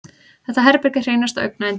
Þetta herbergi er hreinasta augnayndi.